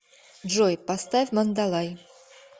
джой поставь мандалай